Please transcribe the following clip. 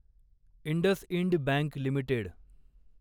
IndusInd bank limited